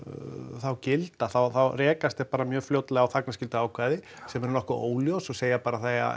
þá gilda þá þá rekast þeir bara mjög fljótlega á þagnarskylduákvæði sem eru nokkuð óljós og segja bara að það eigi